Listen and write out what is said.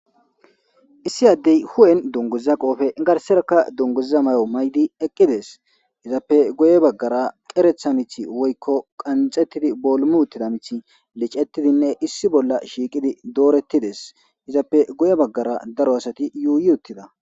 issi addey huwen dunguzza qoofe garserakka dunguzza may7o maydi eqqides izappe goye baggara qeretha mith woykko qanxettidi boolumuuttida mithi licettidinne issi bolla shiiqidi doorettides izappe goye baggara daro asati yuuyuttida